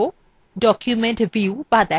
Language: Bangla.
documents view বা দেখা